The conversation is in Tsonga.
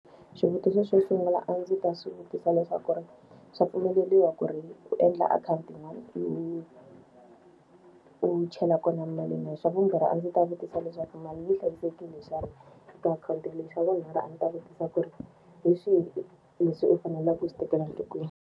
Xivutiso xo sungula a ndzi ta swi vutisa leswaku ri, swa mpfumeleriwa ku ri u endla akhawuntini yin'wani u u chela kona mali na? Xa vumbirhi a ndzi ta vutisa leswaku mali yi hlayisekile xana ka akhawunti leyi? Xa vunharhu a ndzi ta vutisa ku ri hi swihi leswi u faneleke u swi tekela nhlokweni?